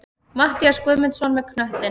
Matthías Guðmundsson með knöttinn.